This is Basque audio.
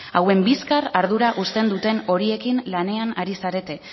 hauen bizkar ardura uzten duten horiekin lanean ari zarete